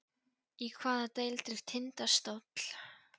Í hvaða deild er Tindastóll?